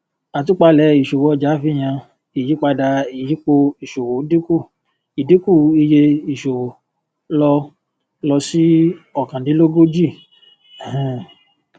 àtúpalẹ ìṣòwò ọjà fi hàn ìyípadà ìyípo ìṣòwò dínkù ìdínkù iye ìṣòwò lọ lọ sí ókàndínlógójì um